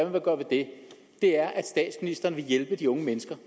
vil gøre ved det er at statsministeren vil hjælpe de unge mennesker